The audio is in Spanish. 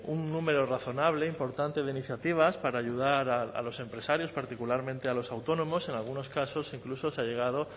un número razonable e importante de iniciativas para ayudar a los empresarios particularmente a los autónomos en algunos casos incluso se ha llegado